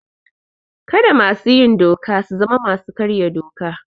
Kada masu yin doka su zama masu karya doka.